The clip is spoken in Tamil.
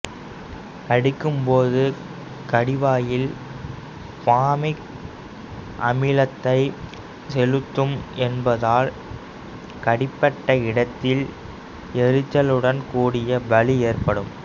கடிக்கும்போது கடிவாயில் பாமிக் அமிலத்தை செலுத்தும் என்பதால் கடிபட்ட இடத்தில் எரிச்சலுடன் கூடிய வலி ஏற்படும்